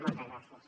moltes gràcies